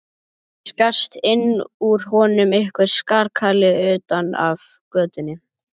Það skarst inn úr honum einhver skarkali utan af götunni.